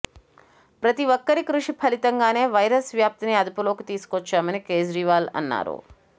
ప్రతిఒక్కరి కృషి ఫలితంగానే వైరస్ వ్యాప్తిని అదుపులోకి తీసుకొచ్చామని కేజ్రీవాల్ అన్నారు